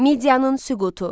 Miyanın süqutu.